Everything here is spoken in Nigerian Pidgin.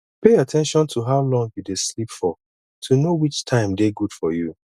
pay at ten tion to how long you dey sleep for to know which time dey good for you